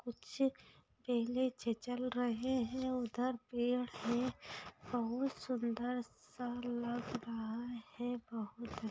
कुछ पहले से चल रहे हैं उधर पेड़ हैं बहोत सुंदर सा लग रहा है बहोत --